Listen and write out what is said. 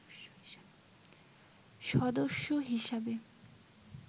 সদস্য হিসাবে